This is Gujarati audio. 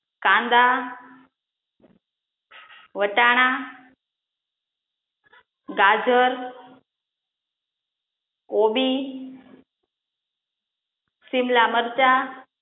કાંદા, વટાણ, ગાજર, કોબી, સીમલા મરચા,